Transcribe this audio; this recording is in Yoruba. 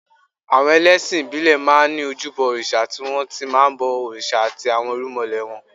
Àwọn ẹlẹ́sìn ìbílẹ̀ máa ń ní ojúbọ òrìṣà tí wọ́n ti máa ń bọ òrìṣà àti àwọn irúnmọlẹ̀ wọn